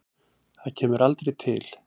Það kemur aldrei til.